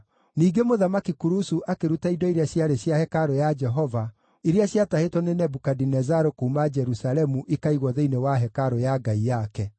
Ningĩ Mũthamaki Kurusu akĩruta indo iria ciarĩ cia hekarũ ya Jehova, iria ciatahĩtwo nĩ Nebukadinezaru kuuma Jerusalemu ikaigwo thĩinĩ wa hekarũ ya ngai yake.